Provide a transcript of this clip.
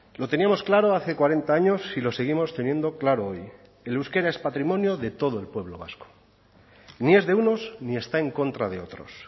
lo teníamos claro hace cuarenta años y lo seguimos teniendo claro hoy el euskera es patrimonio de todo el pueblo vasco ni es de unos ni está en contra de otros